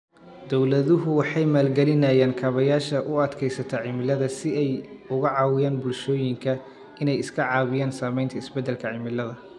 Dawladuhu waxay maalgelinayaan kaabayaasha u adkaysta cimilada si ay uga caawiyaan bulshooyinka inay iska caabiyaan saamaynta isbeddelka cimilada.